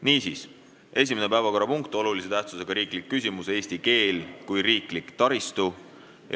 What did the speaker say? Niisiis, esimene päevakorrapunkt, olulise tähtsusega riiklik küsimus "Eesti keel kui riiklik taristu".